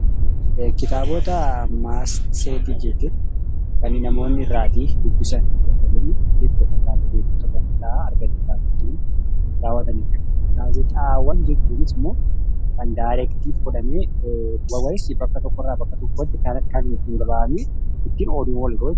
Kitaabota, matseetii fi gaazexaawwan jechuun kan namoonni irraa dubbisan Gaazexaawwan jechuunis immoo kan kallattiin fudhannee bakka tokko irraa bakka biraatti odeeffannoo irraa argannuudha.